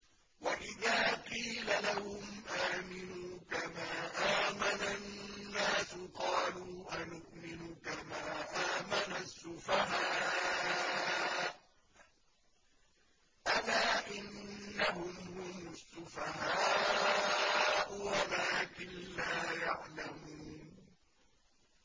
وَإِذَا قِيلَ لَهُمْ آمِنُوا كَمَا آمَنَ النَّاسُ قَالُوا أَنُؤْمِنُ كَمَا آمَنَ السُّفَهَاءُ ۗ أَلَا إِنَّهُمْ هُمُ السُّفَهَاءُ وَلَٰكِن لَّا يَعْلَمُونَ